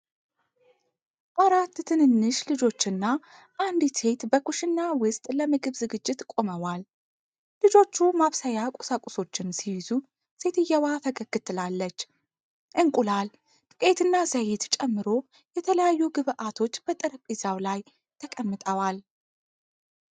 አራት ትንንሽ ልጆችና አንዲት ሴት በኩሽና ውስጥ ለምግብ ዝግጅት ቆመዋል። ልጆቹ ማብሰያ ቁሳቁሶችን ሲይዙ ሴትየዋ ፈገግ ትላለች። እንቁላል፣ ዱቄትና ዘይት ጨምሮ የተለያዩ ግብዓቶች በጠረጴዛው ላይ ተቀምጠዋል።